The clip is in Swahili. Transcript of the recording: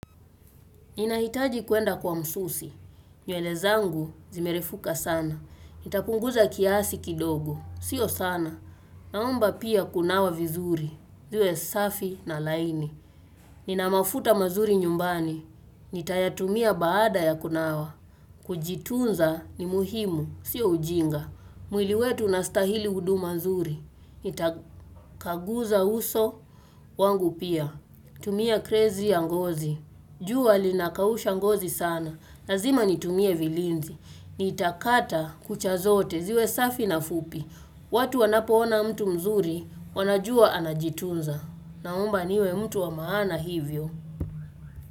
Ninahitaji kuenda kwa msusi. Nywele zangu zimerefuka sana. Nitapunguza kiasi kidogo. Sio sana. Naomba pia kunawa vizuri. Iwe safi na laini. Nina mafuta mazuri nyumbani. Nitayatumia baada ya kunawa. Kujitunza ni muhimu. Sio ujinga. Mwili wetu unastahili huduma mazuri. Nitapanguza uso wangu pia. Tumia crazy ya ngozi. Jua linakausha ngozi sana. Lazima nitumie vilinzi. Nitakata kucha zote ziwe safi na fupi. Watu wanapoona mtu mzuri wanajua anajitunza. Naomba niwe mtu wa maana hivyo.